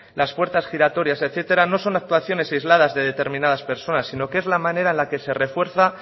las puertas giratorias etcétera no son actuaciones aisladas de determinadas personas sino que es la manera en la que se refuerza